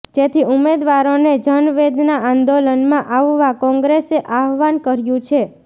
જેથી ઉમેદવારોને જનવેદના આંદોલનમાં આવવા કોંગ્રેસે આહવાન કર્યું છે